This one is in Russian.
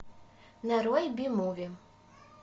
нарой би муви